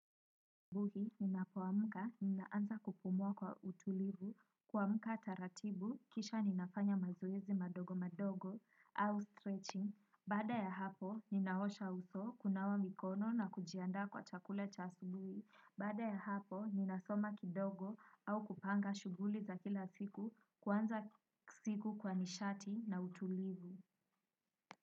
Subuhi ninapoamka ninaanza kupumua kwa utulivu, kuamka taratibu, kisha ninafanya mazoezi madogo madogo. Au stretching. Baada ya hapo ninaosha uso, kunawa mikono na kujiandaa kwa chakula cha asubuhi. Baada ya hapo ninasoma kidogo au kupanga shughuli za kila siku, kuanza siku kwa nishati na utulivu.